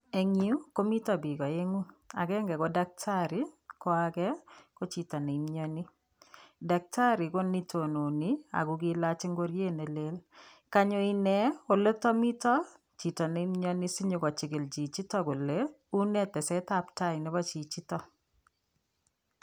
En yuu komiten bik oengu agenge ko dactari ko age ko chito nemioni dactari ko nitononi ako kiilach ingoriet nelel kanyo inei oliton miten chito nemioni sinyokochikil chichito kole unee tesetab tai nebo chichiton.